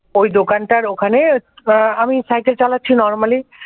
ওই দোকানটার ওখানে আমি সাইকেল চালাচ্ছি normally